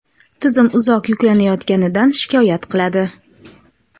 tizim uzoq yuklanayotganidan shikoyat qiladi.